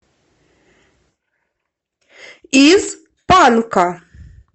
из панка